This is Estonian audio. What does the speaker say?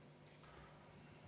Läheme edasi 19. päevakorrapunktiga.